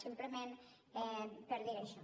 simplement per dir això